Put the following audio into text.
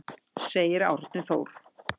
Segir Árni Þór.